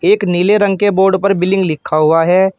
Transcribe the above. एक नीले रंग के बोर्ड पर बिलिंग लिखा हुआ है।